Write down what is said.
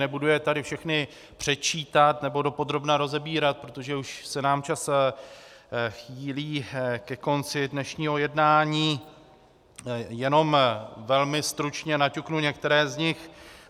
Nebudu je tady všechny předčítat nebo dopodrobna rozebírat, protože už se nám čas chýlí ke konci dnešního jednání, jenom velmi stručně naťuknu některé z nich.